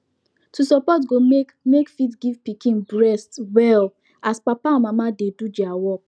to support go make make fit give pikin breast well as papa and mama dey do their work